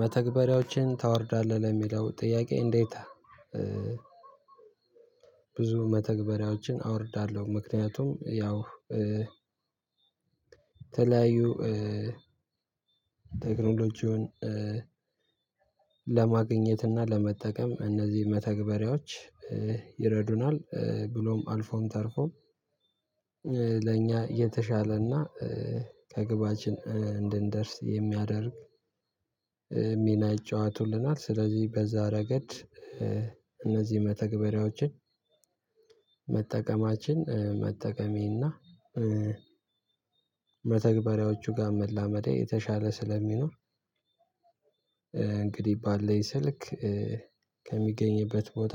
መተግበሪያዎችን ታወርዳለህ ለሚለው ጥያቄ እንዴት? ብዙ መተግበሪያዎችን አወርዳለሁ ምክንያቱም ያው የተለያዩ ቴክኖሎጂውን ለማግኘት እና ለመጠቀም እነዚህ መተግበሪያዎች ይረዱናል ብሎም አልፎም ተርፎም ለእኛ የተሻለና ከግባችን እንድንደርስ የሚያደርግ ሚና ይጫወቱልናል። ስለዚህ በዛ ረገድ እነዚህ መተግበሪያዎችን መጠቀማችን መጠቀሜና መተግበሪያዎቹ ጋር መላመዴ የተሻለ ስለሚሆን። እንግዲህ ባለኝ ስልክ ከሚገኝበት ቦታ